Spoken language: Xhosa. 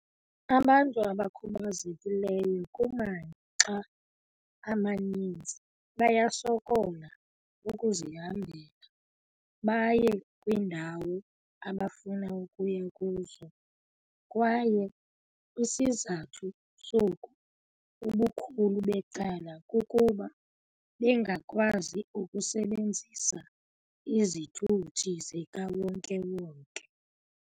"Abantu abakhubazekileyo kumaxa amaninzi bayasokola ukuzihambela baye kwiindawo abafuna ukuya kuzo, kwaye isizathu soku ubukhulu becala kukuba bengakwazi ukusebenzisa izithuthi zika wonke-wonke.